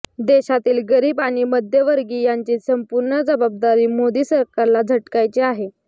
देशातील गरीब आणि मध्यमवर्गीयांची संपूर्ण जबाबदारी मोदी सरकारला झटकायची आहे